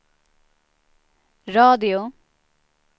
radio